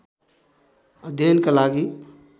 अध्ययनका लागि